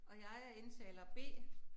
Og jeg er indtaler B